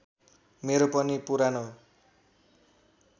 मेरो पनि पुरानो